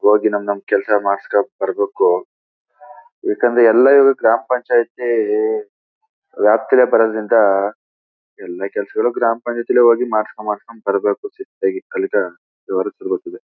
ಹೋಗಿ ನಮ್ ನಮ್ ಕೆಲಸ ಮಾಡ್ಸ್ಕೊಂಡು ಬರ್ಬೇಕು ಯಾಕೆಂದ್ರೆ ಎಲ್ಲ ಇವರು ಗ್ರಾಂ ಪಂಚಾಯತಿ ರಾಷ್ಟ್ರ ಪರರರಿಂದಎಲ್ಲ ಕೆಲಸಗಳು ಗ್ರಾಂ ಪಂಚಾಯತಿಯಲ್ಲಿ ಹೋಗಿ ಮಾಡ್ಸ್ಕೊಂಡು ಮಾಡ್ಸ್ಕೊಂಡು ಬರ್ಬೇಕು